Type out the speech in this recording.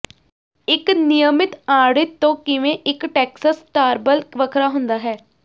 ਇੱਕ ਨਿਯਮਿਤ ਆੜਿਤ ਤੋਂ ਕਿਵੇਂ ਇੱਕ ਟੈਕਸਸ ਸਟਰਾਬਲ ਵੱਖਰਾ ਹੁੰਦਾ ਹੈ